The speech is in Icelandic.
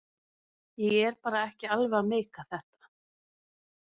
Ég var bara ekki alveg að meika þetta.